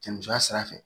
Cɛ musoya sira fɛ